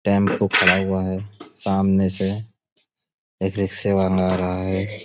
Tempo खड़ा हुआ है सामने से एक रिक्शे वाला आ रहा है।